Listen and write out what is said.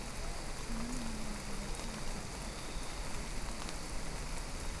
Caanuhu waa badeecad baahi weyn u qabta bulshada dhexdeeda.